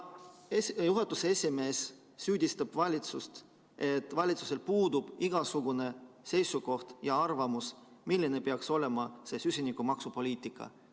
Juhatuse esimees süüdistab valitsust, et valitsusel puudub igasugune seisukoht ja arvamus, milline peaks olema see süsinikumaksupoliitika.